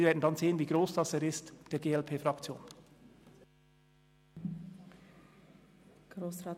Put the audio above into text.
Wir werden dann sehen, wie gross dieser ist.